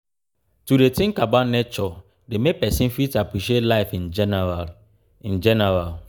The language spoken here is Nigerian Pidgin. to de think about nature de make persin fit appreciate life in general in general